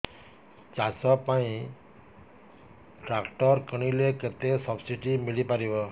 ଚାଷ ପାଇଁ ଟ୍ରାକ୍ଟର କିଣିଲେ କେତେ ସବ୍ସିଡି ମିଳିପାରିବ